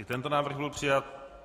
I tento návrh byl přijat.